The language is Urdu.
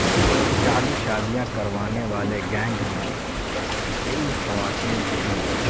جعلی شادیاں کروانے والے گینگ میں کئی خواتین تھیں